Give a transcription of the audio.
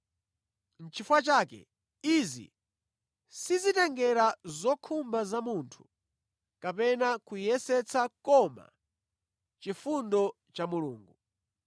Nʼchifukwa chake, izi sizitengera zokhumba za munthu kapena kuyesetsa koma chifundo cha Mulungu.